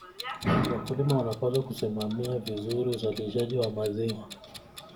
Wakulima wanapaswa kusimamia vizuri uzalishaji wa maziwa.